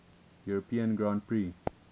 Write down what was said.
european grand prix